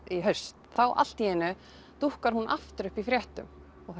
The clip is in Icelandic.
í haust þá allt í einu dúkkar hún aftur upp í fréttum